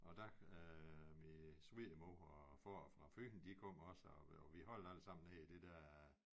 Og der øh min svigermor og få fra Fyn de kom også og vi holdt allesammen nede i det der